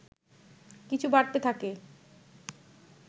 কিছু বাড়তে থাকে